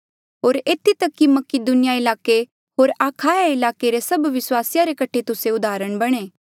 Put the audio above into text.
होर एथी तक कि मकीदुनिया ईलाके होर अखाया ईलाके रे सभ विस्वासिया रे कठे तुस्से उदाहरण बणे